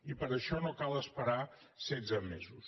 i per a això no cal esperar setze mesos